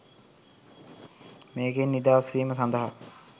මේකෙන් නිදහස් වීම සඳහා